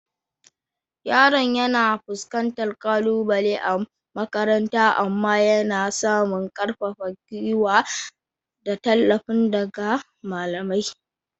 Yaron yana fuskantar kalubale a makaranta amma yana samun ƙarfafar gwuiwa da tallafi daga malamai.